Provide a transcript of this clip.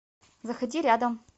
заходи рядом